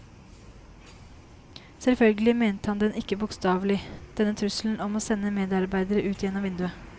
Selvfølgelig mente han den ikke bokstavelig, denne trusselen om å sende medarbeidere ut gjennom vinduet.